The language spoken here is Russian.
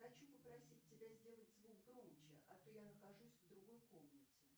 хочу попросить тебя сделать звук громче а то я нахожусь в другой комнате